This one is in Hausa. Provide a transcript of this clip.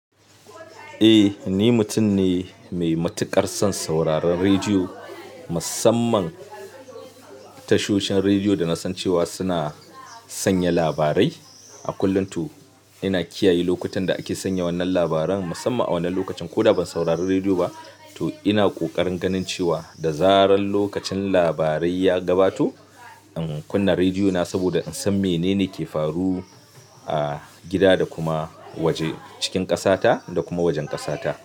Eh ni mutum ne mai matuƙar son sauraron rediyo. Musamman tashohin rediyo da na san cewa suna sanya labarai. A kullum to ina kiyaye lokutan da ake sanya wannan labaran musamman a wannan lokacin ko da ban saurari rediyo ba. To ina ƙoƙarin ganin cewa da zaran lokacin labarai ya gabato, in kunna rediyo na saboda in san menene ke faru a gida da kuma waje, cikin ƙasa ta da kuma wajen ƙasa ta.